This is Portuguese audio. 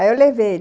Aí eu levei.